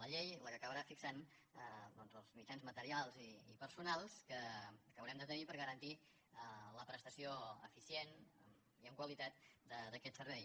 la llei la que acabarà fixant els mitjans materials i personals que haurem de tenir per garantir la prestació eficient i amb qualitat d’aquest servei